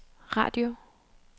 radio